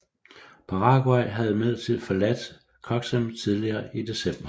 Paraguay havde imidlertid forladt Coxim tidligere i december